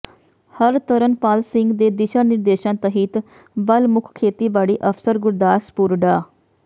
ਹਰਤਰਨਪਾਲ ਸਿੰਘ ਦੇ ਦਿਸ਼ਾ ਨਿਰਦੇਸ਼ਾਂ ਤਹਿਤ ਬਲਮੁੱਖ ਖੇਤੀਬਾੜੀ ਅਫਸਰ ਗੁਰਦਾਸਪੁਰ ਡਾ